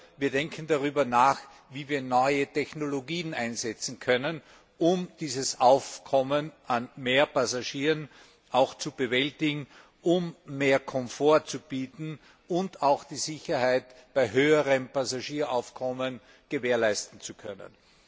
Oder wir denken darüber nach, wie wir neue Technologien einsetzen können, um dieses Aufkommen an mehr Passagieren zu bewältigen, um mehr Komfort zu bieten und auch die Sicherheit bei höherem Passagieraufkommen gewährleisten zu können.